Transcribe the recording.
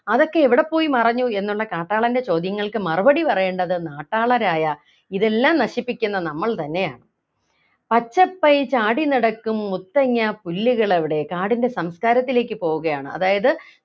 അതൊക്കെ എവിടെ പോയി മറഞ്ഞു എന്നുള്ള കാട്ടാളൻ്റെ ചോദ്യങ്ങൾക്ക് മറുപടി പറയേണ്ടത് നാട്ടാളരായ ഇതെല്ലാം നശിപ്പിക്കുന്ന നമ്മൾ തന്നെയാണ് പച്ചപ്പൈ ചാടിനടക്കും മുത്തങ്ങാപ്പുല്ലുകളെവിടെ കാടിൻ്റെ സംസ്കാരത്തിലേക്ക് പോവുകയാണ് അതായത്